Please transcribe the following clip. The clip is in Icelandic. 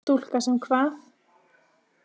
Stúlka sem kvað.